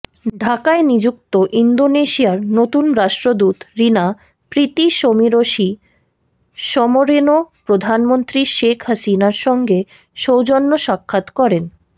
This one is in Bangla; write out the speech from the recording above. ঢাকায় নিযুক্ত ইন্দোনেশিয়ার নতুন রাষ্ট্রদূত রিনা প্রীতিশমিরসি সোমরেনো প্রধানমন্ত্রী শেখ হাসিনার সঙ্গে সৌজন্য সাক্ষাৎ করেন